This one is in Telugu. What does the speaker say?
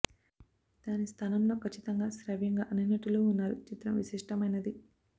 దాని స్థానంలో ఖచ్చితంగా శ్రావ్యంగా అన్ని నటులు ఉన్నారు చిత్రం విశిష్టమైనది